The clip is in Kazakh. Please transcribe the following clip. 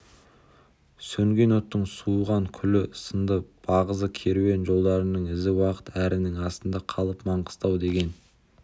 сөнген оттың суыған күлі сынды бағзы керуен жолдарының ізі уақыт әрінің астында қалып маңғыстау деген